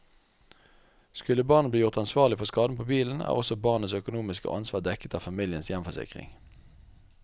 Skulle barnet bli gjort ansvarlig for skaden på bilen, er også barnets økonomiske ansvar dekket av familiens hjemforsikring.